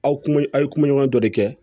Aw kun a' ye kumaɲɔgɔn dɔ de kɛ